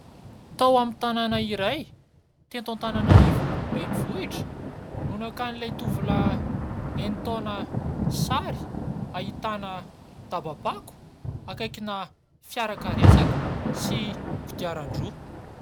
Tao amin'ny tanana iray teto Antananarivo renivohitra no nakan'ilay tovolahy enin-taona sary ahitana daba-pako akaikina fiarakaretsaka sy kodiaran-droa.